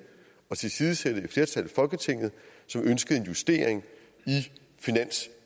at tilsidesætte et flertal i folketinget som ønskede en justering